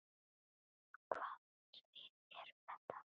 Hvaða svið eru þetta?